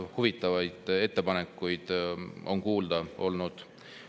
Huvitavaid ettepanekuid on kuulda olnud.